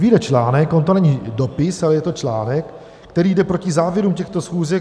Vyjde článek - on to není dopis, ale je to článek - který jde proti závěrům těchto schůzek.